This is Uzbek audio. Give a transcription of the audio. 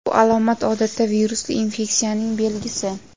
Bu alomat odatda virusli infeksiyaning belgisi.